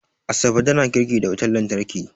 Asabe tana girki da wutar lantarki